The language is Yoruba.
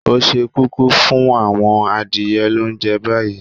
O se kúkú fún àwon adìye lounje bayi?